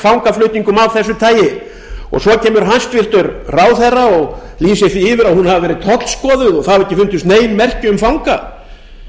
fangaflutningum af þessu tagi svo kemur hæstvirtur ráðherra og lýsir því yfir að hún hafi verið tollskoðuð og ekki hafi fundist nein merki um fanga